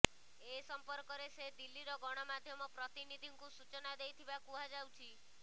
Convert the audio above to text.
ଏ ସମ୍ପର୍କରେ ସେ ଦିଲ୍ଲୀରେ ଗଣମାଧ୍ୟମ ପ୍ରତିନିଧିଙ୍କୁ ସୂଚନା ଦେଇଥିବା କୁହାଯାଉଛି